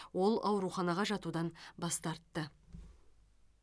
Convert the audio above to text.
ол ауруханаға жатудан бас тартты